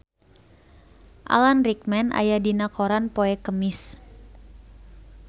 Alan Rickman aya dina koran poe Kemis